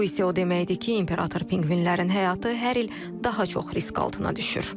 Bu isə o deməkdir ki, imperator pinqvinlərin həyatı hər il daha çox risk altına düşür.